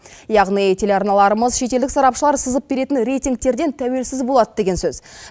яғни телеарналарымыз шетелдік сарапшылар сызып беретін рейтингтерден тәуелсіз болады деген сөз